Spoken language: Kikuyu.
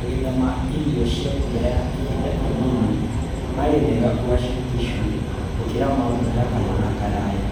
Magetha ma irio cia mbura ya ihinda inini maarĩ mega Uasin Gishu gũkĩra ma mbura ya kahinda karaya